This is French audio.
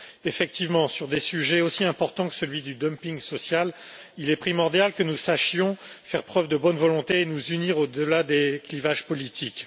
Effectivement, sur des sujets aussi importants que celui du dumping social, il est primordial que nous sachions faire preuve de bonne volonté et nous unir au delà des clivages politiques.